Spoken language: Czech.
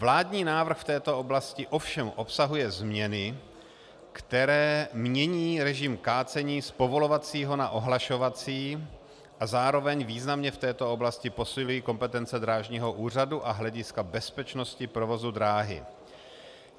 Vládní návrh v této oblasti ovšem obsahuje změny, které mění režim kácení z povolovacího na ohlašovací a zároveň významně v této oblasti posilují kompetence drážního úřadu a hlediska bezpečnosti provozu dráhy.